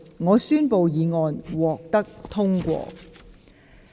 我宣布議案獲得通過。